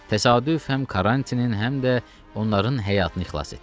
Təsadüf həm Karrantinin, həm də onların həyatını xilas etdi.